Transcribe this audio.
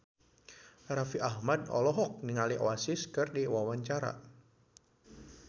Raffi Ahmad olohok ningali Oasis keur diwawancara